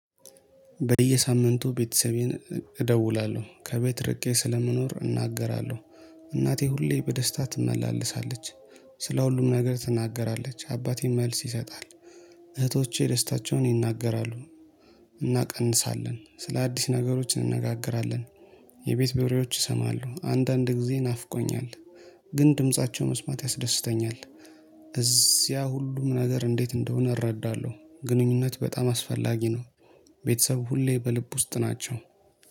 በየሳምንቱ ቤተሰቤን እደውላለሁ ከቤት ርቄ ስለምኖር እናገራለሁ። እናቴ ሁሌ በደስታ ትመላለሳለች። ስለሁሉም ነገር ትናገራለች አባቴም መልስ ይሰጣል። እህቶቼ ደስታቸውን ይናገራሉ። እናቀንሳለን ስለ አዲስ ነገሮች እንነጋገራለን። የቤት በሬዎች ይሰማሉ አንዳንድ ጊዜ ናፍቆኛል። ግን ድምፃቸው መስማት ያስደስተኛል። እዚያ ሁሉም ነገር እንዴት እንደሆነ እረዳለሁ። ግንኙነት በጣም አስፈላጊ ነው። ቤተሰብ ሁሌ በልብ ውስጥ ናቸው